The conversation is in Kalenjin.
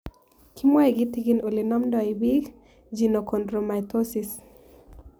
Kimwae kitigin ole namdoi piik Genochondromatosis